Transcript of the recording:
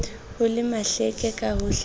ho le mahleke ka hohlehohle